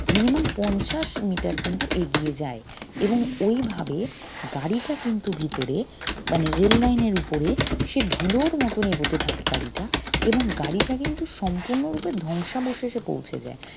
minimum পঞ্চাশ miter কিন্তু এগিয়ে যায় এবং ঐভাবে গাড়িটা কিন্তু ভিতরে মানে rail line এর উপরে সে ধুলোর মতন এগুতে থাকে গাড়িটা এবং গাড়িটা কিন্তু সম্পূর্ণরূপে ধ্বংসাবশেষে পৌঁছে যায়